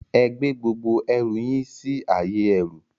Ẹ gbé gbogbo ẹrù si ayé ẹrú